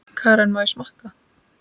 Karen: Má ég smakka?